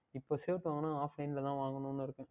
இப்பொழுது Shirt வாங்கினால் Offline தான் வாங்கவேண்டும் என்று இருக்கேன்